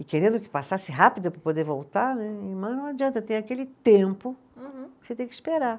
E querendo que passasse rápido para poder voltar né, mas não adianta, tem aquele tempo. Uhum. Você tem que esperar.